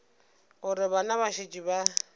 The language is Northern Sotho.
gore bana ba šetše ba